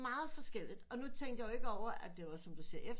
Forskelligt og nu tænker jeg jo ikke over at det er som du siger